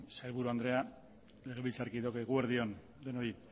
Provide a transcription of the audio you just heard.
sailburu andrea legebiltzarkideok eguerdi on denoi